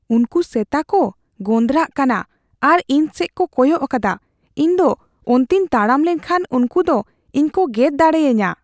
ᱩᱝᱠᱩ ᱥᱮᱛᱟᱠᱩ ᱜᱚᱸᱫᱨᱟᱜ ᱠᱟᱱᱟ ᱟᱨ ᱤᱧ ᱥᱮᱡ ᱠᱚ ᱠᱚᱭᱚᱜ ᱟᱠᱟᱫᱟ ᱾ ᱤᱧ ᱫᱚ ᱚᱱᱛᱮᱧ ᱛᱟᱲᱟᱢ ᱞᱮᱠᱷᱟᱱ ᱩᱝᱠᱩ ᱫᱚ ᱤᱧ ᱠᱚ ᱜᱮᱨ ᱫᱟᱲᱮᱭᱟᱹᱧᱟ ᱾